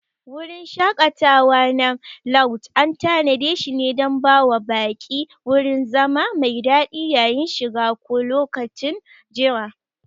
Wurin shaƙatawa na lauj an tanadeshi dan bawa baƙi wurin zama mai daɗi yayin shiga ko lokacin jira.